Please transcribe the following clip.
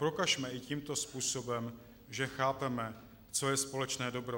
Prokažme i tímto způsobem, že chápeme, co je společné dobro.